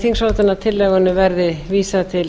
þingsályktunartillögunni verði vísað til